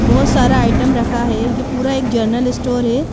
बहुत सारा आइटम रखा है ये पूरा एक जर्नल स्टोर है।